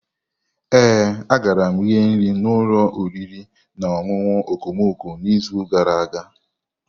Ee, agara m rie nri n'ụlọ oriri na ọṅụṅụ okomoko n'izu gara aga.